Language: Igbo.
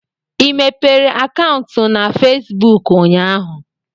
ị mepere akaụntụ na Fesibuku ụnyaahụ?